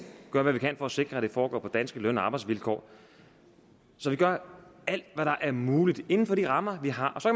gør hvad vi kan for at sikre at det foregår på danske løn og arbejdsvilkår så vi gør alt hvad der er muligt inden for de rammer vi har